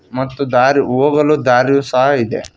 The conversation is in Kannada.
ಮತ್ತು ದಾರಿ ಹೋಗಲು ದಾರಿಯು ಸಹ ಇದೆ.